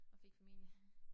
Og fik familie